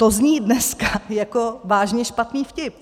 To zní dneska jako vážně špatný vtip.